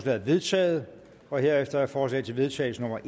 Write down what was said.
er vedtaget herefter er forslag til vedtagelse nummer